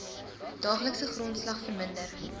daaglikse grondslag verminder